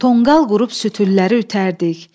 Tonqal qurub sütülləri ütərdik.